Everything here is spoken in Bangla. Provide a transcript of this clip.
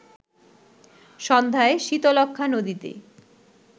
সন্ধ্যায় শীতলক্ষ্যা নদীতে